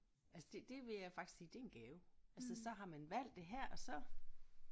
Altså det det ville jeg faktisk sige det er en gave altså så har man valgt det her og så